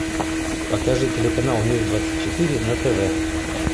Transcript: покажи телеканал мир двадцать четыре на тв